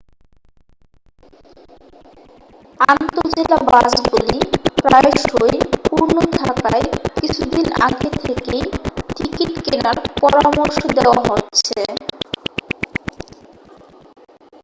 আন্তঃজেলা বাসগুলি প্রায়শই পূর্ণ থাকায় কিছুদিন আগে থেকেই টিকিট কেনার পরামর্শ দেওয়া হচ্ছে